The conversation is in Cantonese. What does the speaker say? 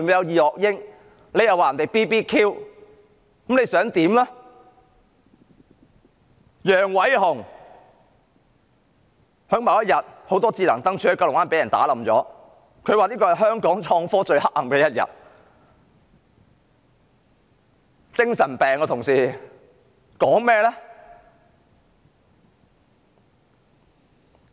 至於楊偉雄，某天九龍灣很多智能燈柱被砸爛，他說這是香港創科最黑暗的一天，他有精神病呀，同事們？